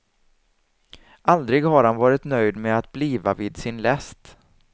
Aldrig har han varit nöjd med att bliva vid sin läst.